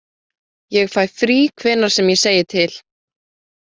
Ég fæ frí hvenær sem ég segi til.